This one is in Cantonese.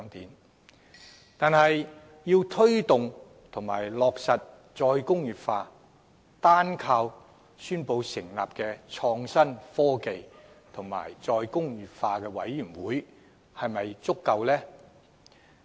然而，要推動及落實"再工業化"，單靠宣布成立創新、科技及再工業化委員會是否足夠？